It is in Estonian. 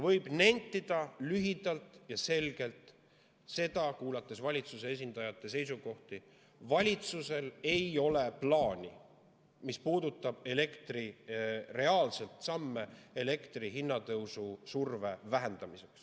Võib nentida lühidalt ja selgelt seda, olles kuulnud valitsuse esindajate seisukohti, et valitsusel ei ole plaani, mis puudutab reaalseid samme elektri hinna tõusu surve vähendamiseks.